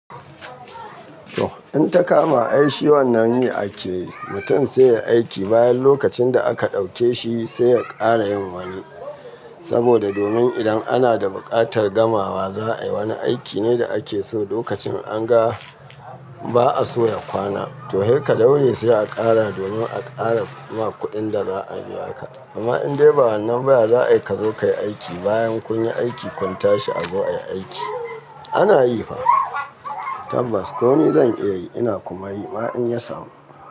To, in ta kama ai shi wannan yi akeyi, mutum sai ya aiki bayan lokacin da aka ɗauke shi sai ya ƙara yin wani. Saboda domin idan ana da buƙatar gamawa za a yi wani aiki ne da ake so lokacin an ga ba a so ya kwana. To, saika daure sai a ƙara domin a ƙara ma kuɗin da za a biya ka. Amma in dai ba wannan baya za a yi ka zo ka yi aiki bayan kun yi aiki kun tashi a zo ayi aiki. Ana yi fa. Tabbas ko ni zan iya yi ina kuma yi ma in ya samu.